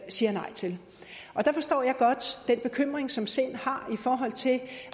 siger nej til der forstår jeg godt den bekymring som sind har i forhold til